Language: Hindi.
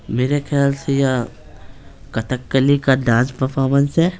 मेरे ख्याल से यह कटकली का डांस परफॉर्मेंस है।